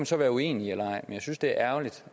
så være uenig eller enig jeg synes det er ærgerligt